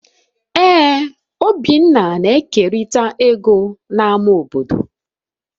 Ee obinna na-ekerịta ego na ama obodo